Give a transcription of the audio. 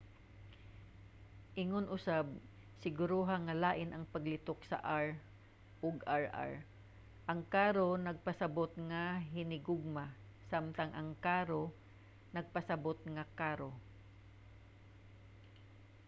ingon usab siguruha nga lain ang paglitok sa r ug rr: ang caro nagpasabut nga hinihugma samtang ang carro nagpasabut nga karo